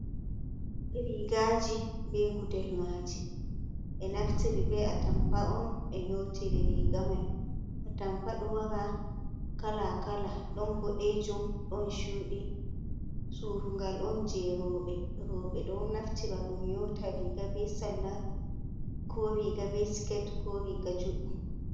Riigaaji be gudel maaji, ɓe naftiri be atampa on ɓe nyootiri riiga mai. Atampa ɗo wara kala-kala, ɗon boɗeejum, ɗon chuuɗi, suurungal on je rooɓe, rooɓe ɗon naftira ba ɗum nyoota riiga be sarla, ko riiga be sket, ko riiga juɗɗum.